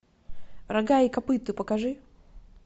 рога и копыта покажи